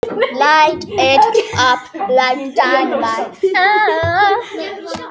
Fiskveiðar taka ekki eins mikið á.